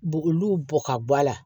B'olu bɔ ka bɔ a la